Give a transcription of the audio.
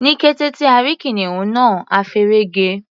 Ní kété tí a rí kìnìún náà, a feré ge.